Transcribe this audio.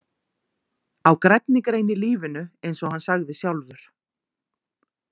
Á grænni grein í lífinu eins og hann sagði sjálfur.